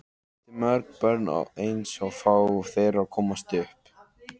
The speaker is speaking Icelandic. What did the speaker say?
Hann átti mörg börn en aðeins fá þeirra komust upp.